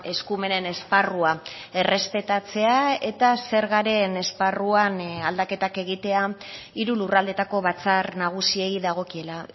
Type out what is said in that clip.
eskumenen esparrua errespetatzea eta zergaren esparruan aldaketak egitea hiru lurraldeetako batzar nagusiei dagokiela